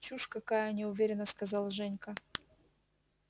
чушь какая неуверенно сказал женька